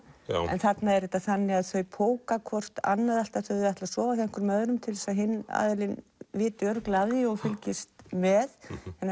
en þarna er þetta þannig að þau póka hvort annað alltaf þegar þau ætla að sofa hjá einhverjum öðrum til þess að hinn aðilinn viti örugglega af því og fylgist með